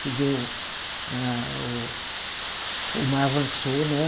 Que deu, a o mar avançou, né?